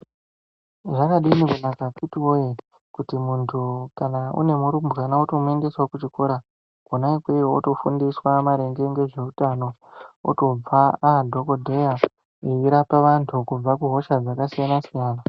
Zvakadini kunaka akhiti voye kuti muntu kana une murumbwana votomuendesavo kuchikora kona ikweyo votofundiswa maringe ngezveutano, otobva adhogodheya eirapa vantu kubva kuhosha dzakasiyana-siyana.